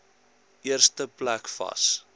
eerste plek vas